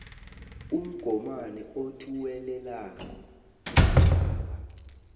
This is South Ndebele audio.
umgomani othuwelelako isigaba